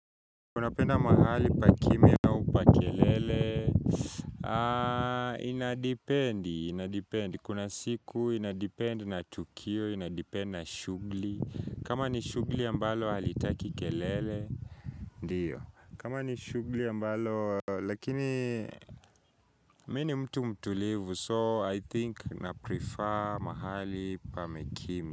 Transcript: Kuna penda mahali pa kimya au pa kelele?, inadependi, inadependi. Kuna siku inadependi na tukio, inadependi na shughuli. Kama ni shughuli ambalo halitaki kelele? Ndiyo. Kama ni shughuli ambalo, lakini mini mtu mtulivu, so I think na prefer mahali pame kimya.